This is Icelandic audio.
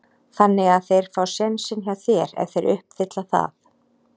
Þannig að þeir fá sénsinn hjá þér ef þeir uppfylla það?